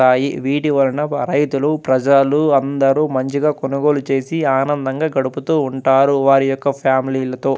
వీటి వలన రైతులు ప్రజలు అందరు మంచిగా కొనుగోలు చేసి ఆనందంగా గడుపుతూ ఉంటారు వారి యొక్క ఫ్యామిలీలు తో --